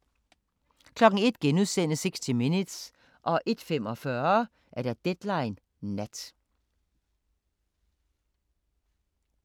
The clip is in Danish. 01:00: 60 Minutes * 01:45: Deadline Nat